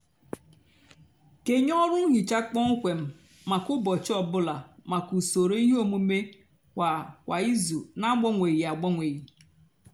kenye ọrụ nhicha kpọmkwem mákà úbọchị ọ bụlà mákà usoro íhè ómumé kwá kwá ízú nà-agbanwéghí agbanwéghí.